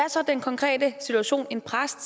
en præst